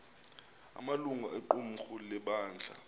amalungu equmrhu lebandla